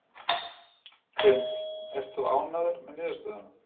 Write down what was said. Hrund: Ert þú ánægður með niðurstöðuna?